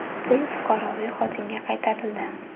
Pul fuqaroviy xotinga qaytarildi.